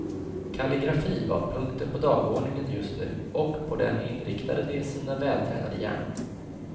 Kalligrafi var punkten på dagordningen just nu, och på den inriktade de sina vältränade hjärnor.